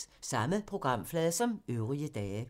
Samme programflade som øvrige dage